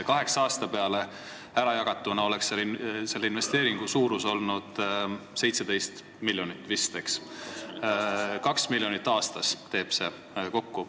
Kaheksa aasta peale ärajagatuna oleks selle investeeringu suurus olnud vist 17 miljonit, mis teeb 2 miljonit aastas.